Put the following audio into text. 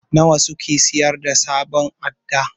Nawa suke sayar da sabon adda?